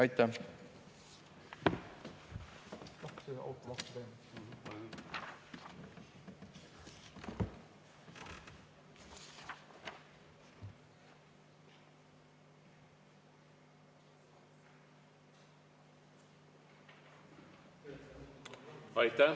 Aitäh!